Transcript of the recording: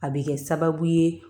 A bɛ kɛ sababu ye